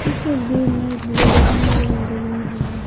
इस तस्वीर में नजर आ रही है।